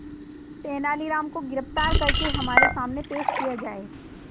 तेनालीराम को गिरफ्तार करके हमारे सामने पेश किया जाए